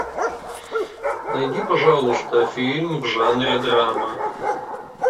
найди пожалуйста фильм в жанре драма